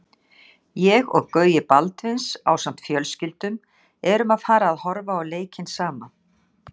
Ég og Gaui Baldvins ásamt fjölskyldum erum að fara að horfa á leikinn saman.